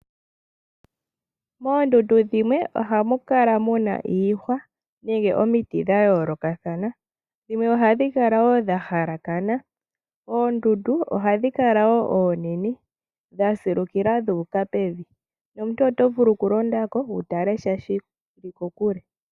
Moondundu dhimwe ohamukala muna iihwa nenge omiti dhayoolokathana, dhimwe ohadhi kala wo dhahalakana. Oondundu ohadhi kala wo oonene dhasilukila dhuuka pevi nomuntu oto vulu okulondako wutalesha shili kokule.